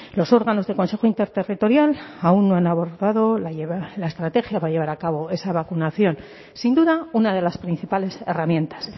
los órganos del consejo interterritorial aún no han abordado la estrategia para llevar a cabo esa vacunación sin duda una de las principales herramientas